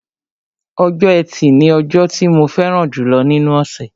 Ọjọ́ ẹtì ni ọjọ́ tí mo fẹ́ràn jùlọ nínú ọ̀ṣẹ̀